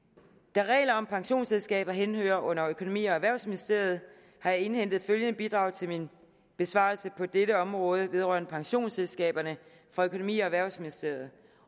da regler om pensionsselskaber henhører under økonomi og erhvervsministeriet har jeg indhentet følgende bidrag til min besvarelse på dette område vedrørende pensionsselskaberne fra økonomi og erhvervsministeriet